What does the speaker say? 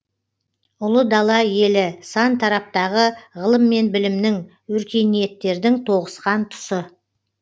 ұлы дала елі сан тараптағы ғылым мен білімнің өркениеттердің тоғысқан тұсы